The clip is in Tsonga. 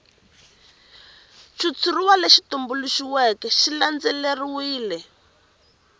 xitshuriwa lexi tumbuluxiweke xi landzelerile